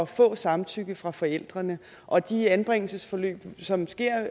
få samtykke fra forældrene og de anbringelsesforløb som sker